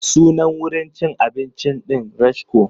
Sunan wurin cin abincin ɗin Rashko.